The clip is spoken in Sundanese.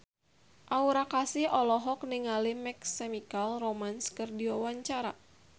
Aura Kasih olohok ningali My Chemical Romance keur diwawancara